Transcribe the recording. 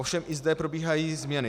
Ovšem i zde probíhají změny.